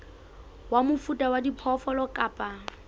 wa mofuta wa diphoofolo kapa